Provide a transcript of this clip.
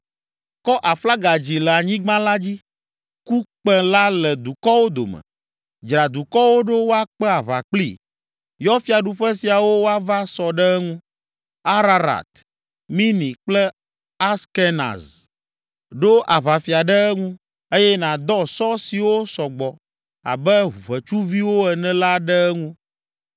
“Kɔ aflaga dzi le anyigba la dzi! Ku kpẽ la le dukɔwo dome! Dzra dukɔwo ɖo woakpe aʋa kplii. Yɔ fiaɖuƒe siawo woava sɔ ɖe eŋu, Ararat, Mini kple Askenaz. Ɖo aʋafia ɖe eŋu, eye nàdɔ sɔ siwo sɔ gbɔ abe ʋetsuviwo ene la ɖe eŋu.